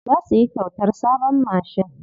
Za su yi kyautar sabon mashin.